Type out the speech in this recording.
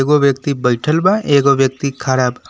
दो व्यक्ति बइठल बा एगो व्यक्ति खड़ा बा।